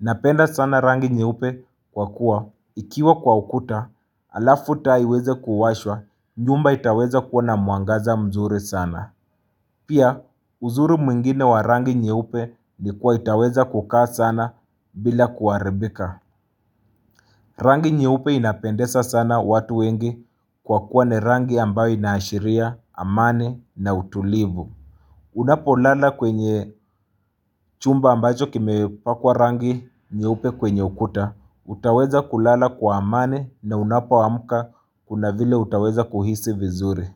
Napenda sana rangi nyeupe kwa kuwa ikiwa kwa ukuta alafu taa iweze kuwashwa nyumba itaweza kua na mwangaza mzuri sana. Pia uzuri mwingine wa rangi nyeupe ni kua itaweza kukaa sana bila kuharibika. Rangi nyeupe inapendeza sana watu wengi kwa kuwa ni rangi ambayo inaashiria, amani na utulivu. Unapo lala kwenye chumba ambacho kime pakwa rangi nyeupe kwenye ukuta, utaweza kulala kwa amani na unapoamka kuna vile utaweza kuhisi vizuri.